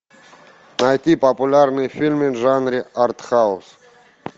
найти популярные фильмы в жанре артхаус